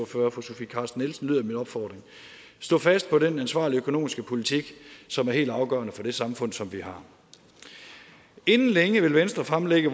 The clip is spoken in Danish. fru sofie carsten nielsen lyder min opfordring stå fast på den ansvarlige økonomiske politik som er helt afgørende for det samfund som vi har inden længe vil venstre fremlægge